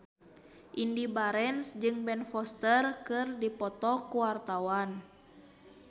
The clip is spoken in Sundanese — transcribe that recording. Indy Barens jeung Ben Foster keur dipoto ku wartawan